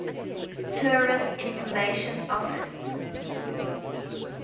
tourist information office